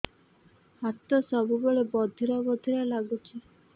ହାତ ସବୁବେଳେ ବଧିରା ବଧିରା ଲାଗୁଚି